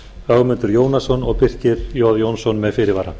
ögmundur jónasson og birkir j jónsson með fyrirvara